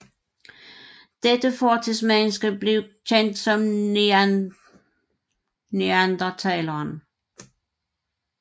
Dette fortidsmenneske blev kendt som neandertaleren